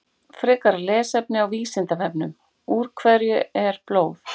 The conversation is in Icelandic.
Frekara lesefni á Vísindavefnum: Úr hverju er blóð?